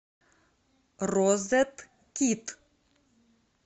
розеткид